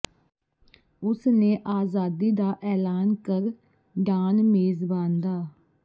ਉਸ ਨੇ ਆਜ਼ਾਦੀ ਦਾ ਐਲਾਨ ਕਰ ਡਾਨ ਮੇਜ਼ਬਾਨ ਦਾ